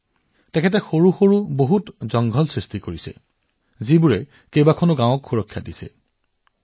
অমৰেশ জীয়ে সৰু সৰু অৰণ্য স্থাপন কৰিছে যি আজি বহুতো গাঁৱক সুৰক্ষিত কৰি ৰাখিছে